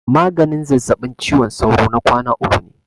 Maganin zazzabin ciwon sauro na kwana uku ne.